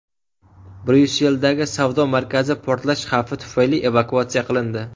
Bryusseldagi savdo markazi portlash xavfi tufayli evakuatsiya qilindi.